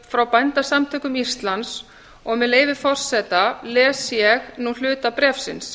frá bændasamtökum íslands og með leyfi forseta les ég nú hluta bréfsins